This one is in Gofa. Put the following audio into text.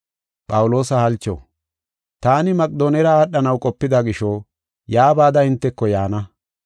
Taani Maqedoonera aadhanaw qopida gisho, yaa bada hinteko yaana.